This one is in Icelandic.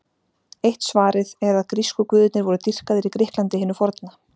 Eitt svarið er að grísku guðirnir voru dýrkaðir í Grikklandi hinu forna.